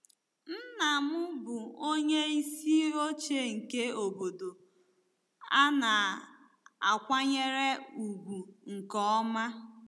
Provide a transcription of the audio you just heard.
Nna m bụ onyeisi oche nke obodo a na-akwanyere ya ùgwù nke ọma.